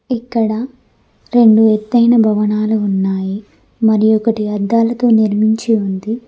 ఇక్కడ రెండు ఎత్తైన భవనాలు ఉన్నాయి మరి ఒకటి అద్దాలతో నిర్మించి ఉంది.